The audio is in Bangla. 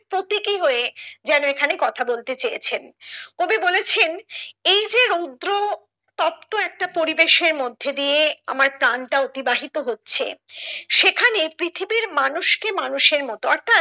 প্রতীকী হয়ে যেন এখানে কথা বলতে চেয়েছেন কবি বলেছেন এই যে রৌদ্র তপ্ত একটা পরিবেশে মধ্যে দিয়ে আমরা প্রাণটা অতিবাহিত হচ্ছে সেখানে পৃথিবীর মানুষ কে মানুষের মতো অর্থাৎ